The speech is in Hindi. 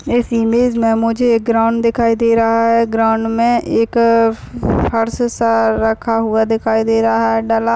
इस इमेज मे मुझे एक ग्राउड दिखाई दे रहा है ग्राउड मे एक अ फर्श सा रखा हुआ दिखाई दे रहा है डला--